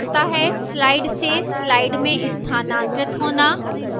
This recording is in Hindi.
slide से slide में स्थानांतरित होना